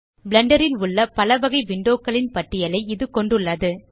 Blender ல் உள்ள பலவகை விண்டோ களின் பட்டியலை இது கொண்டுள்ளது